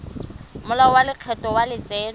molao wa lekgetho wa letseno